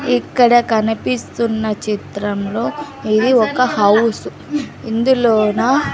ఇక్కడ కనిపిస్తున్న చిత్రంలో ఇది ఒక హౌస్ ఇందులోనా--